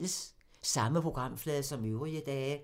Samme programflade som øvrige dage